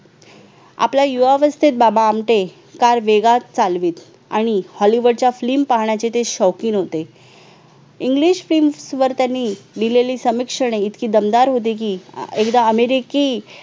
आपला युवा अवस्थेत बाबा आमटे काल वेगळाच चालवीत आणि hollywood च्या film पाहण्याचे ते शौकीन होते English films वर त्यांनी लिहिलेली समीक्षेने इतकी दमदार होती की एकदा अमेरिकी